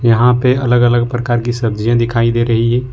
यहां पे अलग अलग प्रकार की सब्जियां दिखाई दे रही है।